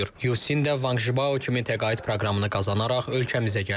Yucin də Vanq Jibao kimi təqaüd proqramını qazanaraq ölkəmizə gəlib.